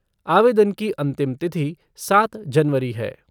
आवेदन की अंतिम तिथि सात जनवरी है।